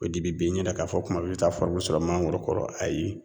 O de bi bin n yɛrɛ k'a fɔ kuma bɛɛ i bi taa sɔrɔ mangoro kɔrɔ ayi